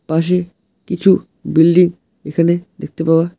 পাশে কিছু বিল্ডিং এখানে দেখতে পাওয়া--